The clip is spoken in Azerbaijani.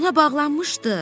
Ona bağlanmışdı.